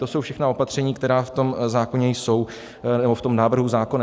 To jsou všechna opatření, která v tom zákoně jsou, nebo v tom návrhu zákona.